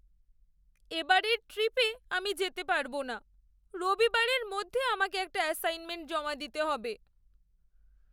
এবারের ট্রিপে আমি যেতে পারবো না। রবিবারের মধ্যে আমাকে একটা অ্যাসাইনমেন্ট জমা দিতে হবে।